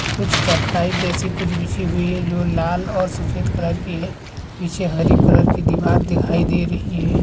कुछ चटाई जैसी कुछ बिछी हुई है जो लाल और सफ़ेद कलर की है पीछे हरी कलर की दीवार दिखाई दे रही है।